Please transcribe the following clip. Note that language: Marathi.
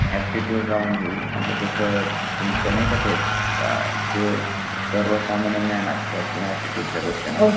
एप्टिट्यूड राऊंड होईल म्हणजे त्याच तुमच नाय का ते अ जे सर्व सामान्य ज्ञान असत किंवा एप्टिट्यूड च्या गोष्टी